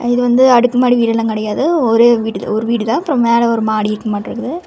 இது வந்து அடுக்குமாடி வீடு எல்லா கெடையாது ஒரே ஒரு வீடு ஒரு வீடு தான் அப்புறோ மேல ஒரு மாடி மட்டுருக்குது.